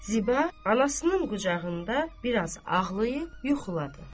Ziba anasının qucağında biraz ağlayıb yuxuladı.